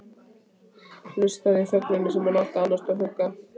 Hlustaði í þögn, hún sem átti að annast og hugga.